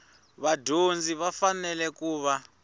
vadyondzi va fanele ku va